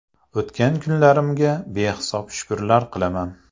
O‘tgan kunlarimga behisob shukrlar qilaman.